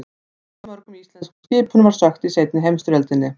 Hversu mörgum íslenskum skipum var sökkt í seinni heimsstyrjöldinni?